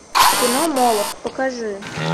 кино молох покажи